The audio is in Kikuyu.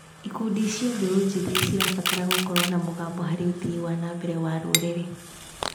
Ikundi cia mbeũ njĩthĩ cirabatara gũkorwo na mũgambo harĩ ũthii wa na mbere wa rũrĩrĩ.